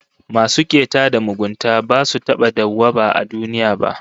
Masu keta da mugunta basu taba dawwaba a duniya ba